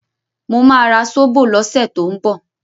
Mo ma ra Sóbò lọ́sẹ̀ tó ń bọ̀